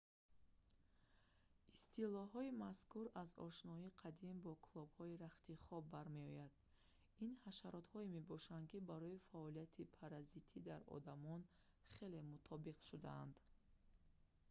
истилоҳои мазкур аз ошноии қадим бо клопҳои рахти хоб бармеояд ин ҳашаротҳое мебошанд ки барои фаъолияти паразитӣ дар одамон хеле мутобиқ шудаанд